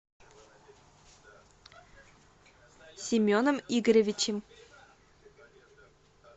семеном игоревичем